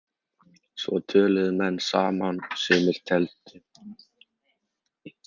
Svo töluðu menn saman og sumir tefldu.